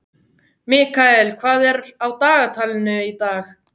Mikael, hvað er á dagatalinu í dag?